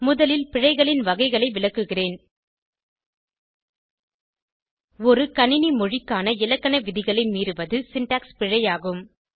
முதலில் பிழைகளின் வகைகளை விளக்குகிறேன் ஒரு கணினி மொழி க்கான இலக்கண விதிகளை மீறுவது சின்டாக்ஸ் பிழை ஆகும்